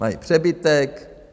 Mají přebytek.